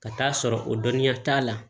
Ka taa'a sɔrɔ o dɔnniya t'a la